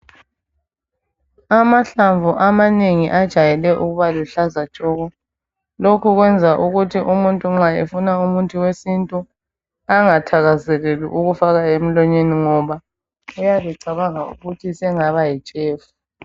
Amahlamvu amanengi ajayele ukuba luhlaza tshoko. Lokhu kwenza ukuthi umuntu nxa efuna umuthi wesintu angathakazeleli ukufaka emlonyeni ngoba uyabe cabanga ukuthi sengaba yitshefu.